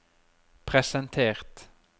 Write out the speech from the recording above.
presentert